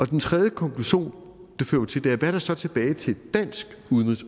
den tredje konklusion fører til hvad der så er tilbage til dansk udenrigs